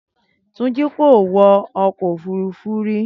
Túnjí kò wọ ọkọ̀ òfúrufú rí